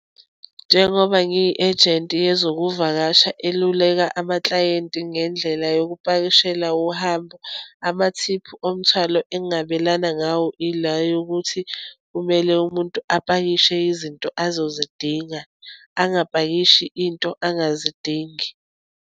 Njengoba ngiyi ejenti yezokuvakasha eluleka amaklayenti ngendlela yokupakishela uhambo, amathiphu omthwalo engabelana ngawo, ila yokuthi, kumele umuntu apakishe izinto azozidinga, angapakishi into angazidingi.